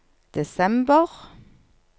desember